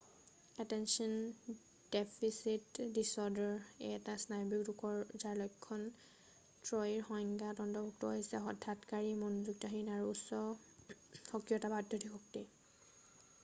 attention deficit disorder এটা স্নায়বিক ৰোগ যাৰ লক্ষণ ত্ৰয়ীৰ সংজ্ঞাত অন্তৰ্ভূক্ত হৈছে হঠকাৰিতা মনোযোগহীনতা আৰু উচ্চ সক্ৰিয়তা বা অত্যধিক শক্তি